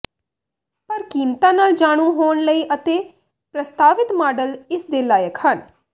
ਪਰ ਕੀਮਤਾਂ ਨਾਲ ਜਾਣੂ ਹੋਣ ਲਈ ਅਤੇ ਪ੍ਰਸਤਾਵਿਤ ਮਾਡਲ ਇਸ ਦੇ ਲਾਇਕ ਹਨ